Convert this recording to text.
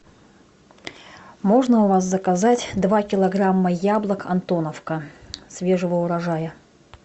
можно у вас заказать два килограмма яблок антоновка свежего урожая